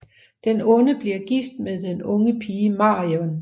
Den onde bliver gift med den unge pige Marion